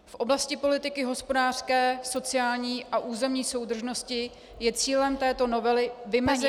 V oblasti politiky hospodářské, sociální a územní soudržnosti je cílem této novely vymezení -